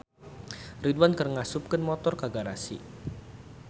Ridwan keur ngasupkeun motor ka garasi